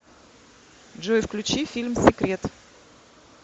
джой включи фильм секрет